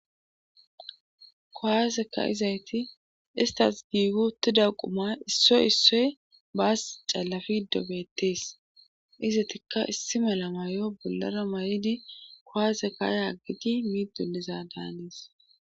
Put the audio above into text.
Kuwaaseka izayti istas giigu tida quma issoy issoy baas callafi dobettees izatikka issi mela maayo bollara maridi kowaasekaayaaggiti miiddoliza daanies.